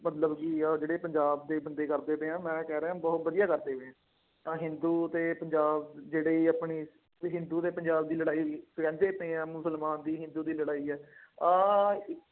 ਮਤਲਬ ਕਿ ਅਹ ਜਿਹੜੇ ਪੰਜਾਬ ਦੇ ਬੰਦੇ ਕਰਦੇ ਪਏ ਆ, ਮੈਂ ਕਹਿ ਰਿਹਾਂ ਬਹੁਤ ਵਧੀਆ ਕਰਦੇ। ਤਾਂ ਹਿੰਦੂ ਅਤੇ ਪੰਜਾਬ ਜਿਹੜੇ ਆਪਣੀ ਅਤੇ ਹਿੰਦੂ ਅਤੇ ਪੰਜਾਬ ਦੀ ਲੜਾਈ, ਪਇਆਂ ਮੁਸਲਮਾਨ ਦੀ ਹਿੰਦੂ ਦੀ ਲੜਾਈ ਹੈ। ਆਹ